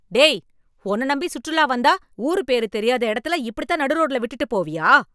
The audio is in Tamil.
டேய் ! உன்ன நம்பி சுற்றுலா வந்தா, ஊரு பேரு தெரியாத இடத்துல இப்படி தான் நடுரோட்டில் விட்டுட்டு போறியா?